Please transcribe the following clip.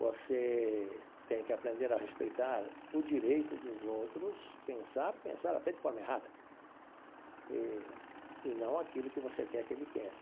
Você tem que aprender a respeitar o direito dos outros, pensar, pensar até de forma errada, e e não aquilo que você quer que ele pense.